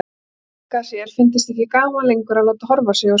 Frank að sér fyndist ekki gaman lengur að láta horfa á sig á sviði.